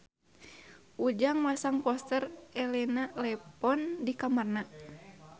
Ujang masang poster Elena Levon di kamarna